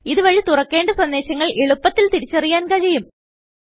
ഇതു വഴി തുറക്കേണ്ട സന്ദേശങ്ങൾ എളുപത്തിൽ തിരിച്ചറിയാൻ കഴിയും